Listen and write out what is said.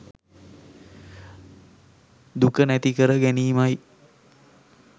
දුක නැති කර ගැනීමයි.